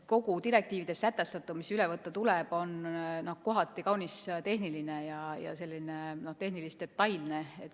Kogu direktiivides sätestatu, mis tuleb üle võtta, on kohati kaunis tehniline ja detailne.